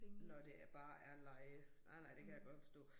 Når det bare er leje. Nej nej det kan jeg godt forstå